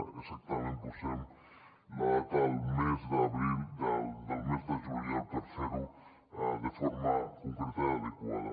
exactament posem la data del mes de juliol per fer ho de forma concreta i adequada